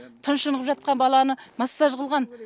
тұншығып жатқан баланы массаж қылған